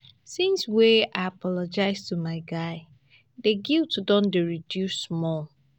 since wey i apologize to my guy di guilt don dey reduce small.